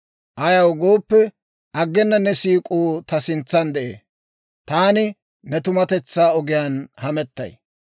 Ayaw gooppe, aggena ne siik'uu ta sintsan de'ee; taani ne tumatetsaa ogiyaan hamettay.